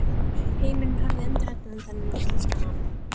Heimurinn horfði undrandi á þennan íslenska mann.